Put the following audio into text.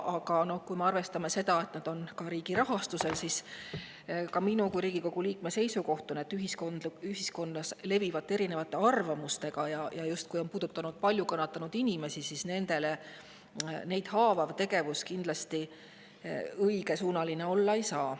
Aga kui me arvestame sellega, et nad on ka riigi rahastada, siis minu kui Riigikogu liikme seisukoht on, et ühiskonnas levivate erinevate arvamustega, eriti, kui see puudutab palju kannatanud inimesi, ja neid haavav tegevus ei saa kindlasti õige olla.